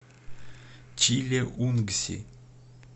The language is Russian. чилеунгси